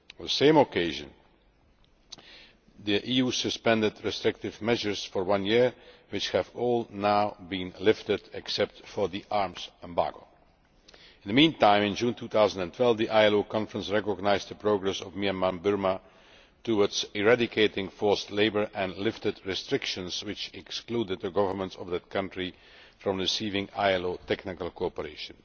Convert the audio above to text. On the same occasion the EU suspended restrictive measures for one year, which have all now been lifted except for the arms embargo. In the meantime, in June 2012 the ILO Conference recognised the progress of Myanmar Burma towards eradicating forced labour, and lifted restrictions which excluded the government of the country from receiving ILO technical cooperation.